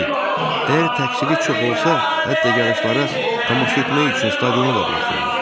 Qeyd, əgər təqsiri çox olsa, hətta yarışlara tamaşa etmək üçün stadiona da buraxılmır.